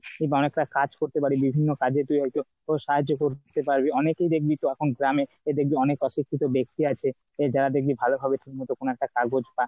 তুই যেন একটা কাজ করতে পারবি। বিভিন্ন কাজে তুই হয়তো সাহায্য করতে পারবি। অনেকেই দেখবি তখন গ্রামে তো অনেক অশিক্ষিত ব্যাক্তি আছে তো যারা দেখবি ভালো ভাবে ঠিক মতো ওখানে একটা কাজ বাজ পা